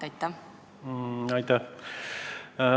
Aitäh!